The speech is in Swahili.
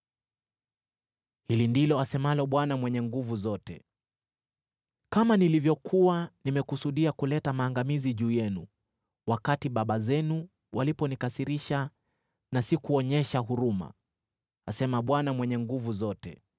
Hili ndilo asemalo Bwana Mwenye Nguvu Zote: “Kama nilivyokuwa nimekusudia kuleta maangamizi juu yenu, wakati baba zenu waliponikasirisha na sikuonyesha huruma,” asema Bwana Mwenye Nguvu Zote,